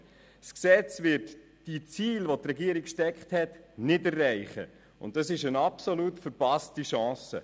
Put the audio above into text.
Erstens: Das Gesetz wird die Ziele, welche die Regierung gesteckt hat, nicht erreichen, und das ist eine absolut verpasste Chance.